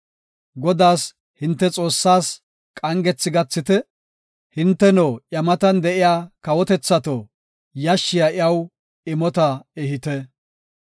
Godaas hinte Xoossaas qangethi gathite; hinteno iya matan de7iya kawotethato, yashshiya iyaw imota ehite.